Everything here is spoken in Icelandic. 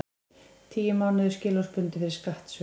Tíu mánuðir skilorðsbundið fyrir skattsvik